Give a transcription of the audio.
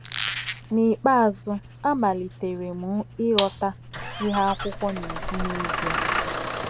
N’ikpeazụ, a malitere m ịghọta ihe akwụkwọ na - ekwu n’ezie